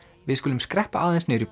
við skulum skreppa aðeins niður í